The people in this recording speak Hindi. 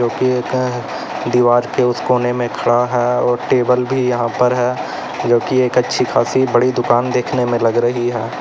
दीवार के उस कोने में खड़ा है और एक टेबल भी यहां पर है जो की एक अच्छी खासी बड़ी दुकान देखने में लग रही है।